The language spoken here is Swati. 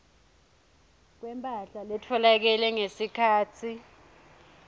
kwemphahla letfolakele ngesikhatsi